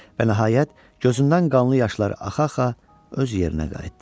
Və nəhayət, gözündən qanlı yaşlar axa-axa öz yerinə qayıtdı.